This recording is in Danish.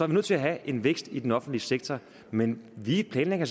vi nødt til at have en vækst i den offentlige sektor men vi planlægger